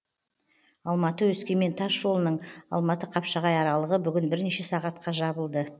алматы өскемен тас жолының алматы қапшағай аралығы бүгін бірнеше сағатқа жабылды